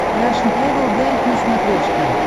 рашн тревел гайд на смотрешке